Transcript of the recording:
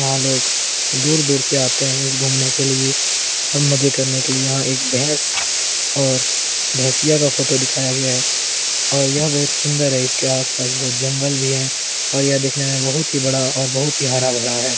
यहाँ लोग दूर दूर से आते हैं इस घूमने के लिए और मज़े करने के लिए यहाँ एक भेंस और भेंसिया का फोटो दिखाया गया है और यह बहुत सुन्दर है और इसके आस पास जंगल है और यह देख ने में बहुत ही बड़ा और बहुत ही हरा भरा है ।